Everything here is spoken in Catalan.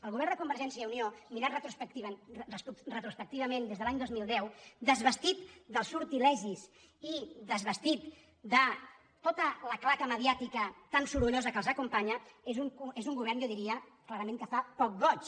el govern de convergència i unió mirat retrospectivament des de l’any dos mil deu desvestit dels sortilegis i desvestit de tota la claca mediàtica tan sorollosa que els acompanya és un govern jo diria clarament que fa poc goig